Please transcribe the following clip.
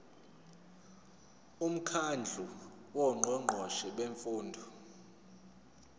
umkhandlu wongqongqoshe bemfundo